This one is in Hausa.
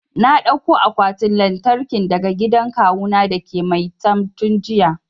Na dauko akwatin lantarkin daga gidan kawu na dake maitam tun jiya